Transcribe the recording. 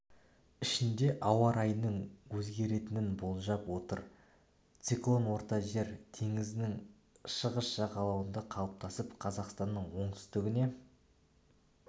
ішінде ауа райының өзгеретінін болжап отыр циклон орта жер теңізінің шығыс жағалауында қалыптасып қазақстанның оңтүстігіне